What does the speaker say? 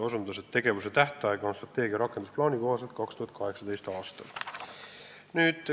Ja selle tegevuse tähtaeg on strateegia rakendusplaani kohaselt 2018. aastal.